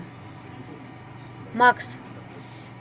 макс